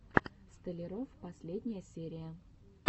столяров последняя серия